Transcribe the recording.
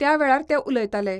त्यावेळार ते उलयताले.